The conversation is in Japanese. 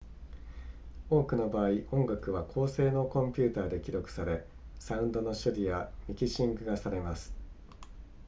多くの場合音楽は高性能コンピュータで記録されサウンドの処理やミキシングがされます